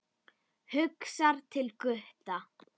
Hugsar til Gutta.